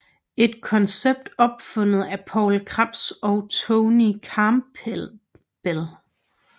Et koncept opfundet af Poul Krebs og Troy Campbell